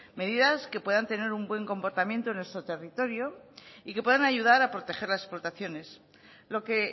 medidas que puedan tener un buen comportamiento en nuestro territorio y que puedan ayudar a proteger las explotaciones lo que